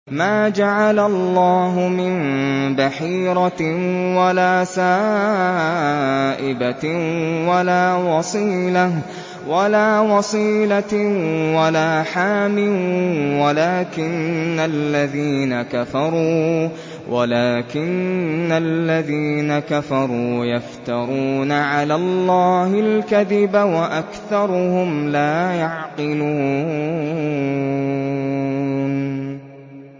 مَا جَعَلَ اللَّهُ مِن بَحِيرَةٍ وَلَا سَائِبَةٍ وَلَا وَصِيلَةٍ وَلَا حَامٍ ۙ وَلَٰكِنَّ الَّذِينَ كَفَرُوا يَفْتَرُونَ عَلَى اللَّهِ الْكَذِبَ ۖ وَأَكْثَرُهُمْ لَا يَعْقِلُونَ